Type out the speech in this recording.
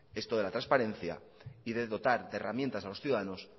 esto de la transparencia y de dotar de herramientas a los ciudadanos